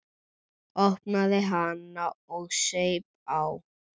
Opnaði hana og saup á.